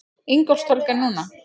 Ingólfstorg er núna.